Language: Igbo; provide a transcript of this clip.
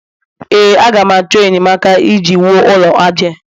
ee, a ga m achọ enyemaka iji wuo ụlọ aja a